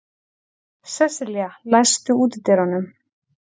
Sesselía, læstu útidyrunum.